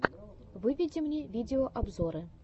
выведи мне видеообзоры